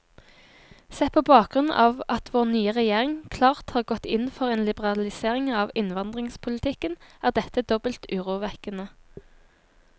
Sett på bakgrunn av at vår nye regjering klart har gått inn for en liberalisering av innvandringspolitikken, er dette dobbelt urovekkende.